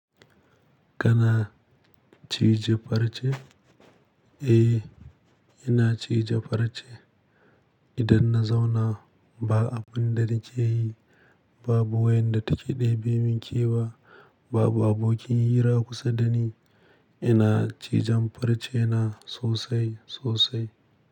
Kana cije farce? Eh, ina cije farce. Idan na zauna ba abin da nake yi, babu wayanda take ɗebe min kewa, babu abokin hira kusa dani. Ina cijan farce na sosai sosai.